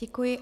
Děkuji.